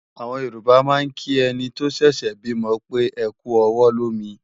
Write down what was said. Àwọn Yorùbá máa ń kí ẹni tó ṣẹ̀ṣẹ̀ bímọ pé "ẹkú ọwọ́ lómi"